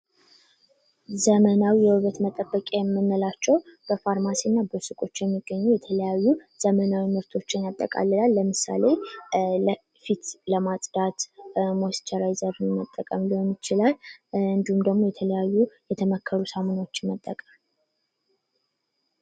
ዘመናዊ የውበት መጠበቂያ የምንላቸው በፋርማሲ እና በሱቆች የሚገኙ የተለያዩ ዘመናዊ ምርቶችን ያጠቃልላል ለምሳሌ ለፊት ለማጽዳት ሞስቸራይዘር ለመጠቀም ሊሆን ይችላል። እንድሁም ደግሞ የተለያዩ የተመከሩ ሳሙናዎችን መጠቀም።